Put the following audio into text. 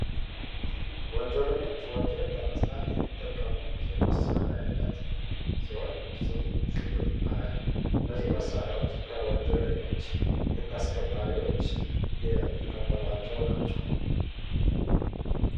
ወንጀለኞች ወንጀል ለመስራት የሚጠቀሙት የመሳሪያ አይነት ሲሆን ስሙም ሽጉጥ ይባላል። እነዚህ መሳሪያዎች ከወንጀለኞች ህግ አስከባሪዎች የተቀበሏቸው ናቸው።